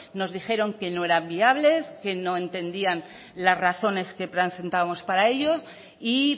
nos dijeron que no era viables que no entendían las razones que presentábamos para ellos y